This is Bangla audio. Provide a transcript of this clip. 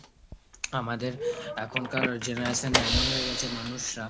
আমাদের এখনকার generation এ এমন হয়ে গেছে মানুষরা,